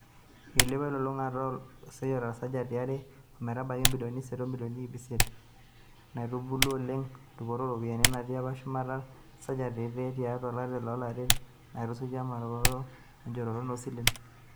Eilepuo elolungata olekosiayio tesajati e are ometabaiki ibilioni isiet omilioni iip isiet, naitubuluo oleng dupoto oo ropiyiani, enatii apa shumata tesajati eile tiatu olari o lari natisujua emponaroto enjooroto oo silen.